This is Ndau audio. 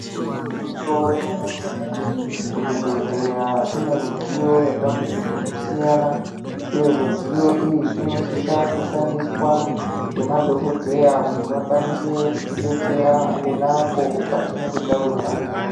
Igwinyiso remene mene kuzvibhedhleya kune midziyo yakati kuti kusiyana kwemidziyo iyi inosisa kushandiswa ngemadhokodheya kuti vakwanise kutidetsera pona apo patinenge tawirwa ngehosha